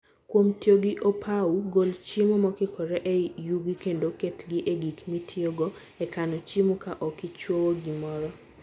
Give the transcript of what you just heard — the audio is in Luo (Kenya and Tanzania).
Kuom tiyo gi opou, gol chiemo mokikore e yugi kendo ketgi e gik mitiyogo e kano chiemo, ka ok ichwowo gimoro.